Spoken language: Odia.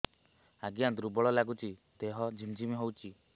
ଆଜ୍ଞା ଦୁର୍ବଳ ଲାଗୁଚି ଦେହ ଝିମଝିମ ହଉଛି